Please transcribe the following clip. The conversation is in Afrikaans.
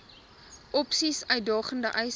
opsies uitdagende eise